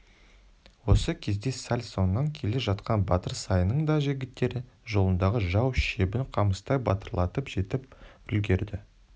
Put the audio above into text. осы кезде сәл соңынан келе жатқан батыр саянның да жігіттері жолындағы жау шебін қамыстай бытырлатып жетіп үлгерді